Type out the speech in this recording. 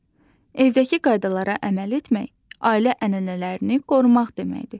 Evdəki qaydalara əməl etmək ailə ənənələrini qorumaq deməkdir.